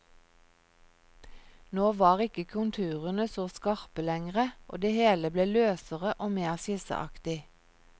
Nå var ikke konturene så skarpe lengre, og det hele ble løsere og mer skisseaktig.